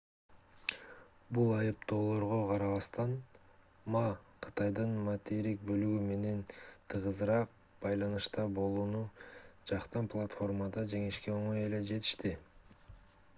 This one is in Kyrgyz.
бул айыптоолорго карабастан ма кытайдын материктик бөлүгү менен тыгызыраак байланышта болууну жактан платформада жеңишке оңой эле жетишти